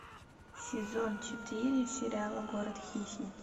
сезон четыре сериала город хищниц